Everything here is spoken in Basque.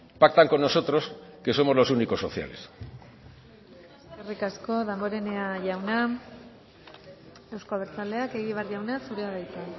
pactan con nosotros que somos los únicos sociales eskerrik asko damborenea jauna euzko abertzaleak egibar jauna zurea da hitza